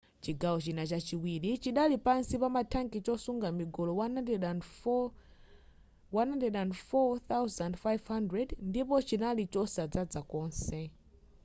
chigawo china chachiwili chidali pansi pama thanki chosunga migolo 104,500 ndipo chinali chosadzaza konse